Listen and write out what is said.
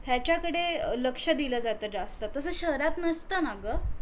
याच्याकडे अं लक्ष दिलं जात जास्त तसं शहरात नसतं ना ग?